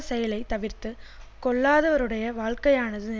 செயலை தவிர்த்து கொள்ளாதவருடைய வாழ்க்கையானது